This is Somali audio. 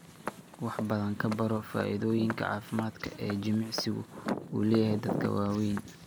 Wax badan ka baro faa'iidooyinka caafimaad ee jimicsigu u leeyahay dadka waaweyn.